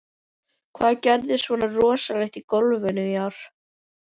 Hvað gerðist svona rosalegt í golfinu í ár?